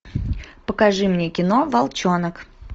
покажи мне кино волчонок